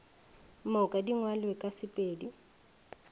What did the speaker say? moka di ngwalwe ka sepedi